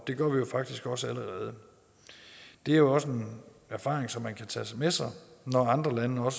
det gør vi faktisk også allerede det er jo også en erfaring som man kan tage med sig når andre lande har